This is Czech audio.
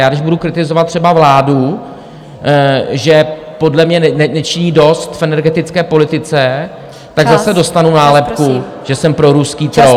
Já když budu kritizovat třeba vládu, že podle mě nečiní dost v energetické politice , tak zase dostanu nálepku, že jsem proruský troll.